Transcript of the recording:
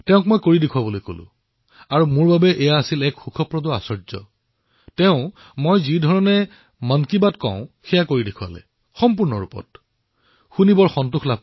মই তেওঁক দেখুৱাবলৈ কোৱাত তেওঁ মন কী বাতত মই যি ধৰণে কথা কওঁ ঠিক তেনেকৈ মিমিক্ৰি কৰি দেখুৱালে আৰু এয়া মোৰ বাবে এক আশ্বৰ্যকৰ অভিজ্ঞতা আছিল